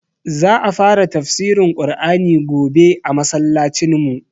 Za a fara tafsirin Ƙur'ani gobe a masallacin mu